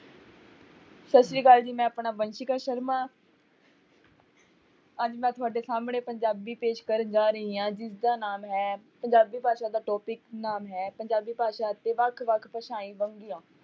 ਸਤਿ ਸ੍ਰੀ ਅਕਾਲ ਜੀ ਮੈਂ ਆਪਣਾ ਵੰਸ਼ਿਕਾ ਸ਼ਰਮਾ ਅੱਜ ਮੈਂ ਤੁਹਾਡੇ ਸਾਹਮਣੇ ਪੰਜਾਬੀ ਪੇਸ਼ ਕਰਨ ਜਾ ਰਹੀ ਹਾਂ, ਜਿਸਦਾ ਨਾਮ ਹੈ, ਪੰਜਾਬੀ ਭਾਸ਼ਾ ਦਾ topic ਨਾਮ ਹੈ ਪੰਜਾਬੀ ਭਾਸ਼ਾ ਅਤੇ ਵੱਖ ਵੱਖ ਭਾਸ਼ਾਈ ਵੰਨਗੀਆਂ